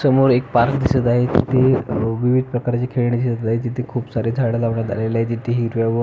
समोर एक पार्क दिसत आहे तिथे अह विविध प्रकारची खेळणी दिसत आहे तिथे खुप सारी झाड लावण्यात आलेली आहे तिथे हिरव्या व--